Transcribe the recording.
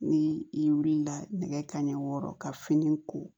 Ni i wulila nɛgɛ kaɲɛ wɔɔrɔ ka fini ko